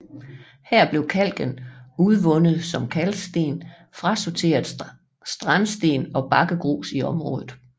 Her blev kalken udvundet som kalksten frasorteret strandsten og bakkegrus i området